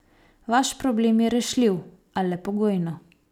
Vaš problem je rešljiv, a le pogojno.